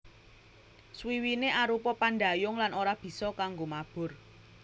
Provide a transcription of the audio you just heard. Swiwiné arupa pandhayung lan ora bisa kanggo mabur